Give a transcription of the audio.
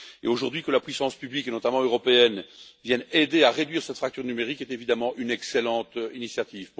Qu'aujourd'hui la puissance publique et notamment européenne vienne aider à réduire cette fracture numérique est évidemment une excellente initiative.